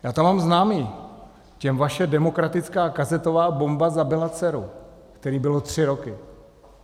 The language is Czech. Já tam mám známé, těm vaše demokratická kazetová bomba zabila dceru, které byly tři roky.